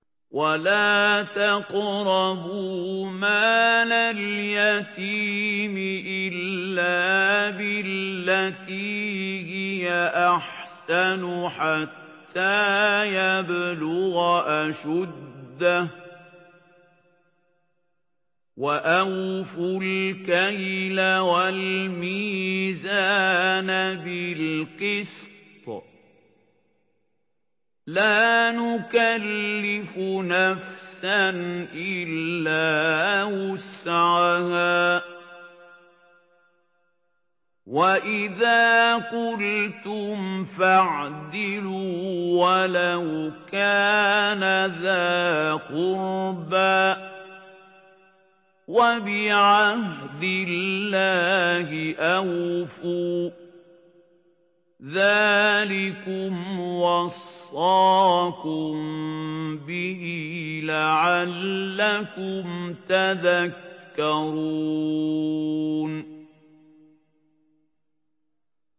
وَلَا تَقْرَبُوا مَالَ الْيَتِيمِ إِلَّا بِالَّتِي هِيَ أَحْسَنُ حَتَّىٰ يَبْلُغَ أَشُدَّهُ ۖ وَأَوْفُوا الْكَيْلَ وَالْمِيزَانَ بِالْقِسْطِ ۖ لَا نُكَلِّفُ نَفْسًا إِلَّا وُسْعَهَا ۖ وَإِذَا قُلْتُمْ فَاعْدِلُوا وَلَوْ كَانَ ذَا قُرْبَىٰ ۖ وَبِعَهْدِ اللَّهِ أَوْفُوا ۚ ذَٰلِكُمْ وَصَّاكُم بِهِ لَعَلَّكُمْ تَذَكَّرُونَ